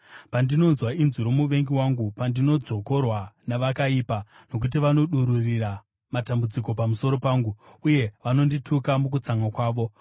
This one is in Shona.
pandinonzwa inzwi romuvengi wangu, pandinodzvokorwa navakaipa; nokuti vanodururira matambudziko pamusoro pangu, uye vanondituka mukutsamwa kwavo.